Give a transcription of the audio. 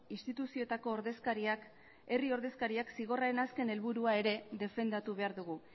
instituzioetako ordezkariak herri ordezkariak zigorraren azken helburua defendatu behar dugu